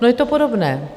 No, je to podobné.